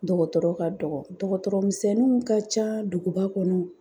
Dɔgɔtɔrɔ ka dɔgɔ, dɔgɔtɔrɔmisɛnniw ka ca duguba kɔnɔ.